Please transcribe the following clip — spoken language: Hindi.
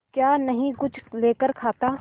क्या नहीं कुछ लेकर खाता